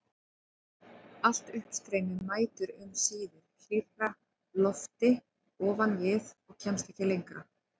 Allt uppstreymi mætir um síðir hlýrra lofti ofan við og kemst ekki lengra.